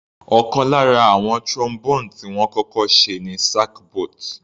Ọ̀kan lára àwọn Trombone tí wọ́n kọ́kọ́ ṣe ni sackbut.